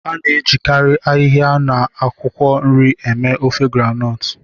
A na-ejikarị ahịhịa na akwụkwọ nri eme ofe groundnut